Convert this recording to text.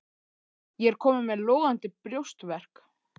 Ég er kominn með logandi brjóstverk.